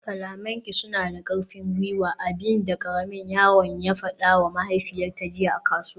kalamanki suna da kwarin gwiwa, abin da karamin yaron ya fadawa mahaifiyarta jiya a kasuwa